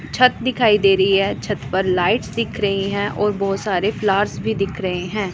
छत दिखाई दे रही है छत पर लाइटस दिख रही हैं और बहुत सारे फ्लावर्स भी दिख रहे हैं।